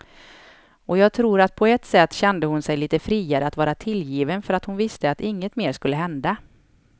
Och jag tror att på ett sätt kände hon sig lite friare att vara tillgiven för att hon visste att inget mer skulle hända.